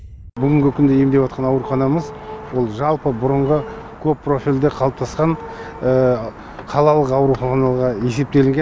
бүгінгі күні емдеватқан ауруханамыз ол жалпы бұрынғы көп профильді қалыптасқан қалалық ауруханаға есептелінген